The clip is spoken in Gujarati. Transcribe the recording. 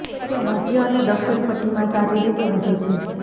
તે મધ્ય અને દક્ષિણ પટ્ટીમાં સારી રીતે વધે છે